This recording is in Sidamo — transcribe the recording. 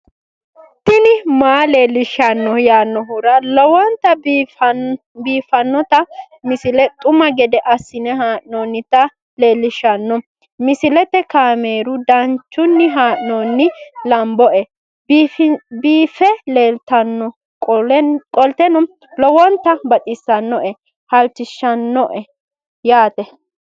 tini maa leelishshanno yaannohura lowonta biiffanota misile xuma gede assine haa'noonnita leellishshanno misileeti kaameru danchunni haa'noonni lamboe biiffe leeeltannoqolten lowonta baxissannoe halchishshanno yaate